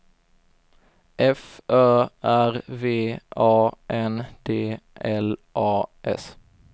F Ö R V A N D L A S